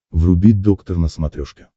вруби доктор на смотрешке